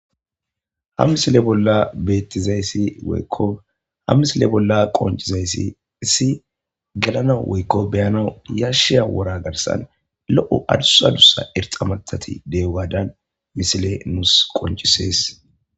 ha misile bolla beettizayssi woykko ham misile bolla qoncizayssi issi gelana woykko beyanau yashiya wora garsan lo7o adusadussa erxamatati dewaadan misile nuus qoncisees